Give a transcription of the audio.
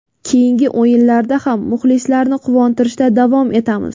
Keyingi o‘yinlarda ham muxlislarni quvontirishda davom etamiz.